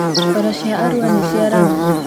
Bara cia Arũa nĩ cia rami